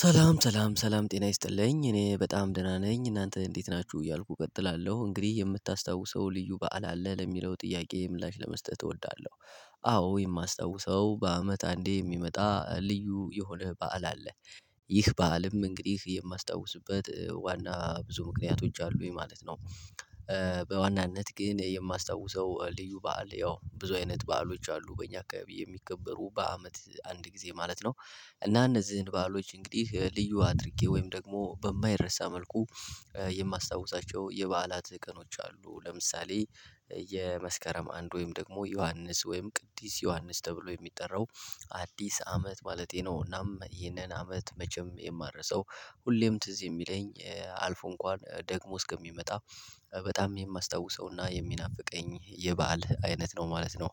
ሰላም ሰላም ሰላም ጤና ይስጥልኝ እኔ በጣም ደህና ነኝ እናንተ እንዴት ናችሁ እያልኩ እቀጥላለሁ እንግዲህ የምታስታውሰው ልዩ በዓል አለ ለሚለው ጥያቄ ምላሽ ለመስጠት እወዳለሁ። አዎ የማስታውሰው በአመት አንዴ የሚመጣ ልዩ የሆነ በዓል አለ። ይህ በዓልም እንግዲህ የማስታውስበት ዋና ብዙ ምክንያቶች አሉ የማለት ነው። በዋናነት ግን የማስታውሰው ልዩ በዓል ያው ብዙ አይነት በዓሎች አሉ በእኛ አካባቢ የሚከበሩ በአመት አንድ ጊዜ ማለት ነው። እና እነዚህን በዓሎች እንግዲህ ልዩ አድርጌ ወይም ደግሞ በማይረሳ መልኩ የማስታውሳቸው የበዓላት ቀኖች አሉ። ለምሳሌ የመስከረም አንድ ወይም ደግሞ ዮሐንስ ወይም ቅዲስ ዮሐንስ ተብሎ የሚጠራው አዲስ አመት ማለቴ ነው። እናም ይህንን አመት መቼም የማረሳው ሁሌም ትዝ የሚለኝ አልፎ እንኳን ደግሞ እስከሚመጣ በጣም የማስታውሰውና የሚናፍቀኝ የባህል አይነት ነው ማለት ነው።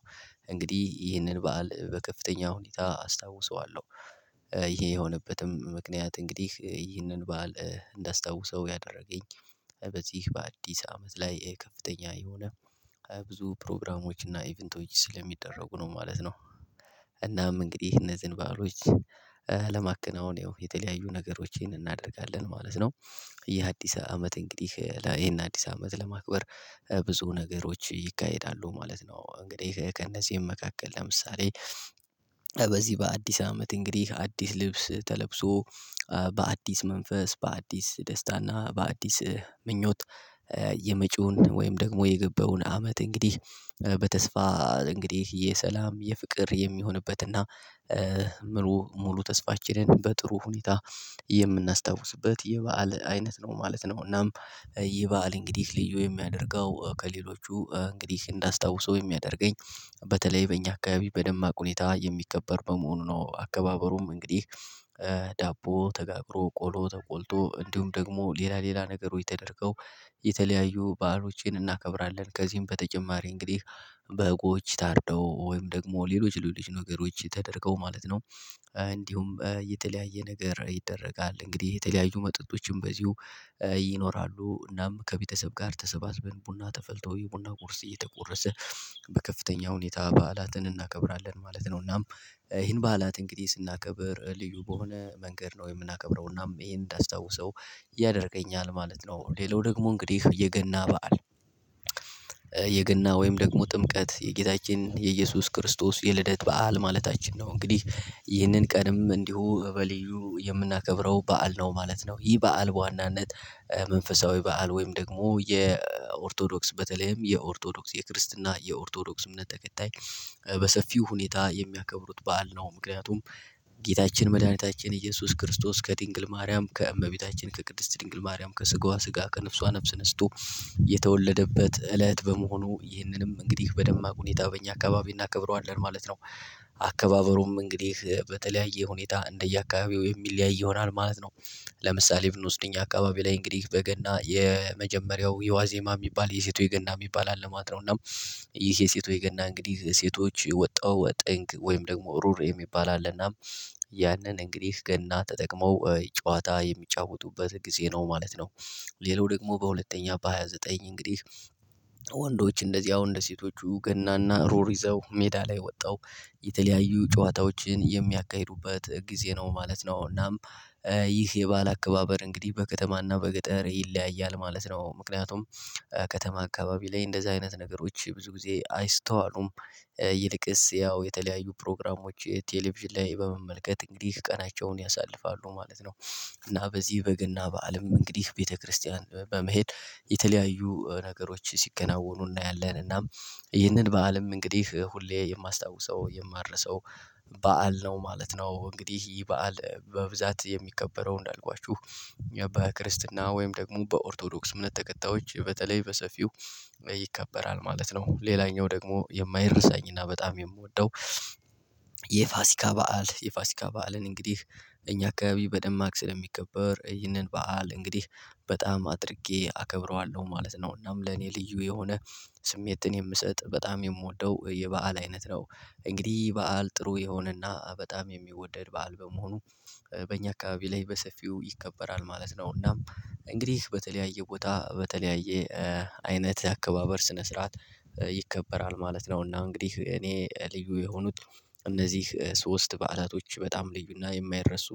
እንግዲህ ይህንን በዓል በከፍተኛ ሁኔታ አስታውሰዋለሁ። ይሄ የሆነበትም ምክንያት እንግዲህ ይህንን በዓል እንዳስታውሰው ያደረገኝ በዚህ በአዲስ አመት ላይ ከፍተኛ የሆነ ብዙ ፕሮግራሞች እና ኢቭንቶይች ስለሚደረጉ ነው ማለት ነው። እናም እንግዲህ እነዚህን ባህሎች ለማከናወን ያው የተለያዩ ነገሮችን እናደርጋለን ማለት ነው። የአዲስ አመት እንግዲህ ይሄን አዲስ አመት ለማክበር ብዙ ነገሮች ይካሄዳሉ ማለት ነው። እንግዲህ ከእነዚህም መካከል ለምሳሌ በዚህ በአዲስ አመት እንግዲህ አዲስ ልብስ ተለብሶ በአዲስ መንፈስ በአዲስ ደስታና በአዲስ ምኞት የመጪውን ወይም ደግሞ የገባውን አመት እንግዲህ በተስፋ እንግዲህ የሰላም የፍቅር የሚሆንበትና መው ሙሉ ተስፋችንን በጥሩ ሁኔታ የምናስታውስበት የበአል አይነት ነው ማለት ነው። እናም ይህ በዓል እንግዲህ ልዩ የሚያደርገው ከሌሎቹ እንግዲህ እንዳስታውሰው የሚያደርገኝ በተለይ በእኛ አካባቢ በደማቅ ሁኔታ የሚከበር በመሆኑ ነው። አከባበሩም እንግዲህ ዳቦ ተጋግሮ ቆሎ ተቆልቶ እንዲሁም ደግሞ ሌላ ሌላ ነገሮች የተደረገው የተለያዩ ባህሎቼን እናከብራለን ከዚህም በተጨማሪ እንግዲህ በጎች ታርደው ወይም ደግሞ ሌሎች ሌሎች ነገሮች ተደርገው ማለት ነው። እንዲሁም የተለያየ ነገር ይደረጋል እንግዲህ የተለያዩ መጠጦችም በዚሁ ይኖራሉ እናም ከቤተሰብ ጋር ተሰባስበን ቡና ተፈልቶ የቡና ቁርስ እየተቆረሰ በከፍተኛ ሁኔታ በዓላትን እናከብራለን ማለት ነው። እናም ይሄን በዓላት እንግዲህ ስናከብር ልዩ በሆነ መንገድ ነው የምናከብረው እናም ይሄን እንዳስታውሰው ያደርገኛል ማለት ነው። ሌላው ደግሞ እንግዲህ የገና በዓል የገና ወይም ደግሞ ጥምቀት የጌታችን የኢየሱስ ክርስቶስ የልደት በዓል ማለታችን ነው እንግዲህ ይህንን ቀንም እንዲሁ በልዩ የምናከብረው በዓል ነው ማለት ነው። ይህ በዓል በዋናነት መንፈሳዊ በዓል ወይም ደግሞ የኦርቶዶክስ በተለይም የኦርቶዶክስ የክርስትና የኦርቶዶክስ እምነት ተከታይ በሰፊው ሁኔታ የሚያከብሩት በዓል ነው። ምክንያቱም ጌታችን መድኃኒታችን ኢየሱስ ክርስቶስ ከድንግል ማርያም ከእመቤታችን ከቅድስት ድንግል ማርያም ከስጋዋ ስጋ ከነፍሷ ነፍስ ነስቶ የተወለደበት እለት በመሆኑ ይህንንም እንግዲህ በደማቅ ሁኔታ በእኛ አካባቢ እናከብረዋለን ማለት ነው። አካባቢሩም እንግዲህ በተለያየ ሁኔታ እንደየአካባቢው የሚለያይ ይሆናል ማለት ነው። ለምሳሌ ብንወስድ እኛ አካባቢ ላይ እንግዲህ በገና የመጀመሪያው የዋዜማ የሚባል የሴቶች የገና የሚባል አለ ማለት ነው። እና ይሄ የሴቶች የገና እንግዲህ ሴቶች ወጣው ወጠንቅ ወይም ደግሞ ሩር የሚባል አለና ያንን እንግዲህ ገና ተጠቅመው ጨዋታ የሚጫወቱበት ጊዜ ነው ማለት ነው። ሌላው ደግሞ በሁለተኛ በሃያ ዘጠኝ እንግዲህ ወንዶች እንደዚህ አሁን እንደ ሴቶቹ ገናና ሩር ይዘው ሜዳ ላይ ወጣው የተለያዩ ጨዋታዎችን የሚያካሂዱበት ጊዜ ነው ማለት ነው። እናም ይህ የባል አከባበር እንግዲህ በከተማና በገጠር ይለያያል ማለት ነው። ምክንያቱም ከተማ አካባቢ ላይ እንደዚህ አይነት ነገሮች ብዙ ጊዜ አይስተዋሉም። ይልቅስ ያው የተለያዩ ፕሮግራሞች ቴሌቪዥን ላይ በመመልከት እንግዲህ ቀናቸውን ያሳልፋሉ ማለት። እና በዚህ በግና በዓልም እንግዲህ ቤተክርስቲያን በመሄድ የተለያዩ ነገሮች ሲከናወኑ እናያለን እና ይህንን በዓልም እንግዲህ ሁሌ የማስታውሰው የማረሰው በዓል ነው ማለት ነው። እንግዲህ ይህ በዓል በብዛት የሚከበረው እንዳልኳችሁ በክርስትና ወይም ደግሞ በኦርቶዶክስ እምነት ተከታዮች በተለይ በሰፊው ይከበራል ማለት ነው። ሌላኛው ደግሞ የማይረሳኝ እና በጣም የምወደው የፋሲካ በዓል የፋሲካ በዓልን እንግዲህ እኛ አካባቢ በደማቅ ስለሚከበር ይህንን በዓል እንግዲህ በጣም አድርጌ አከብረዋለሁ ማለት ነው። እናም ለኔ ልዩ የሆነ ስሜትን የምሰጥ በጣም የምወደው የበአል አይነት ነው። እንግዲህ በዓል ጥሩ የሆነና በጣም የሚወደድ በዓል በመሆኑ በእኛ አካባቢ ላይ በሰፊው ይከበራል ማለት ነው። እናም እንግዲህ በተለያየ ቦታ በተለያየ አይነት አከባበር ስነ ስርዓት ይከበራል ማለት ነው። እና እንግዲህ እኔ ልዩ የሆኑት እነዚህ ሶስት በዓላቶች በጣም ልዩና የማይረሱ